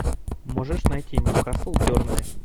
можешь найти ньюкасл бернли